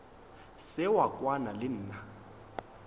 se wa kwana le nna